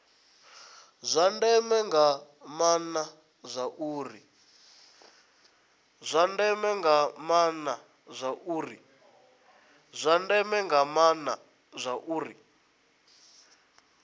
zwa ndeme nga maana zwauri